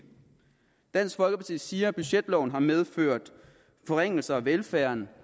dansk folkeparti siger at budgetloven har medført forringelser af velfærden